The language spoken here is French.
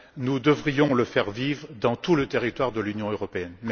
Nous devrions le faire vivre sur tout le territoire de l'Union européenne.